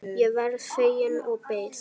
Ég varð fegin og beið.